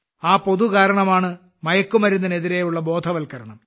ആ പൊതു കാരണമാണ് മയക്കുമരുന്നിനെതിരെയുള്ള ബോധവൽക്കരണം